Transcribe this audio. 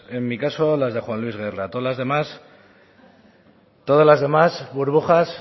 en mi caso las de juan luis guerra todas las demás burbujas